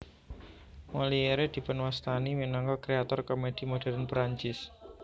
Molière dipunwastani minangka kréator komèdi modern Prancis